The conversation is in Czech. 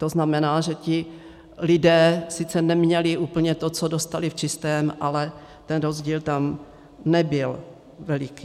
To znamená, že ti lidé sice neměli úplně to, co dostali v čistém, ale ten rozdíl tam nebyl veliký.